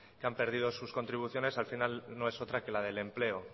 que han perdido sus contribuciones al final no es otra que la del empleo